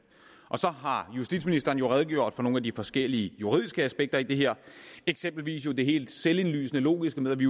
og så har justitsministeren jo redegjort for nogle af de forskellige juridiske aspekter i det her eksempelvis det helt selvindlysende logiske med at vi